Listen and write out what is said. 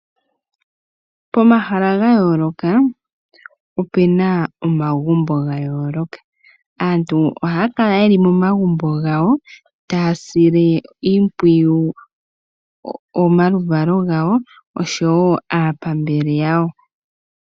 Pomahala ga yooloka opena omagumbo ga yooloka. Aantu ohaya kala yeli momagumbo gawo taya sile iimpwiyu omaluvalo gawo oshowo aapambele yawo.